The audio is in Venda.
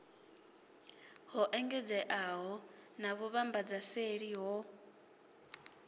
ho engedzeaho na vhuvhambadzaseli ho